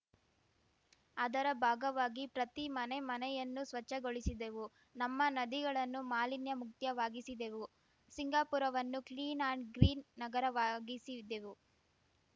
ಅದರ ಭಾಗವಾಗಿ ಪ್ರತಿ ಮನೆ ಮನೆಯನ್ನೂ ಸ್ವಚ್ಛಗೊಳಿಸಿದೆವು ನಮ್ಮ ನದಿಗಳನ್ನು ಮಾಲಿನ್ಯ ಮುಕ್ತವಾಗಿಸಿದೆವು ಸಿಂಗಾಪುರವನ್ನು ಕ್ಲೀನ್‌ ಆಂಡ್‌ ಗ್ರೀನ್‌ ನಗರವಾಗಿಸಿದೆವು